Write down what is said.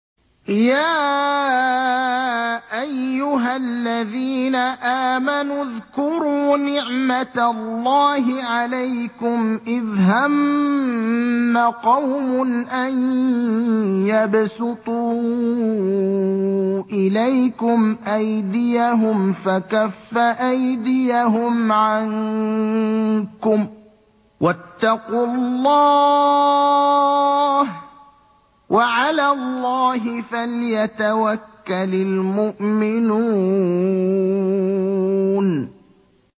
يَا أَيُّهَا الَّذِينَ آمَنُوا اذْكُرُوا نِعْمَتَ اللَّهِ عَلَيْكُمْ إِذْ هَمَّ قَوْمٌ أَن يَبْسُطُوا إِلَيْكُمْ أَيْدِيَهُمْ فَكَفَّ أَيْدِيَهُمْ عَنكُمْ ۖ وَاتَّقُوا اللَّهَ ۚ وَعَلَى اللَّهِ فَلْيَتَوَكَّلِ الْمُؤْمِنُونَ